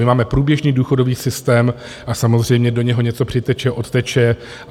My máme průběžný důchodový systém a samozřejmě do něho něco přiteče, odteče.